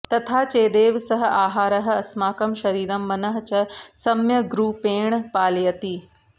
तथा चेदेव सः आहारः अस्माकं शरीरं मनः च सम्यग्रूपेण पालयति